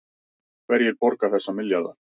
Hverjir borga þessa milljarða